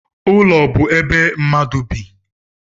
Ụlọ bụ ebe mmadu bị